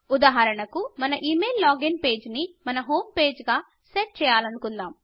ఉదాహరణకు మన email login page ని మన హోం పేజి గా సెట్ చేయలనుకుందాం